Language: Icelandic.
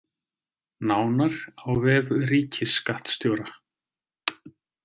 Nánar á vef ríkisskattstjóra